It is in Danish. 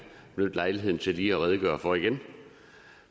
benytte lejligheden til lige at redegøre for igen